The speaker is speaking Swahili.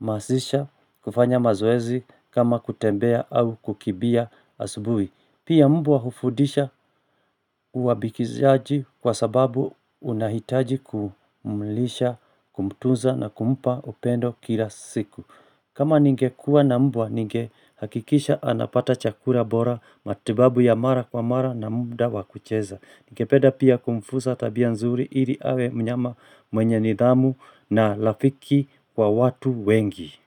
masisha kufanya mazoezi kama kutembea au kukimbia asubuhi Pia mbwa hufundisha uabikizaji kwa sababu unahitaji kumlisha kumtuza na kumpa upendo kila siku kama ningekuwa na mbwa ningehakikisha anapata chakula bora matibabu ya mara kwa mara na muda wakucheza. Ningepeda pia kumfunza tabia nzuri ili awe mnyama mwenye nidhamu na rafiki kwa watu wengi.